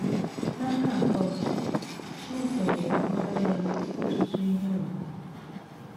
N’aka nke ọzọ, Chineke nyere Ọkpara ya ọtụtụ ihe ùgwù.